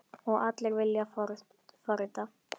Og allir vilja forrita?